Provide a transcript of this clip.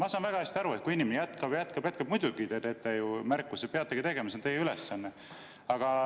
Ma saan väga hästi aru, et kui inimene jätkab, jätkab, jätkab, siis muidugi te teete märkuse, peategi tegema, see on teie ülesanne.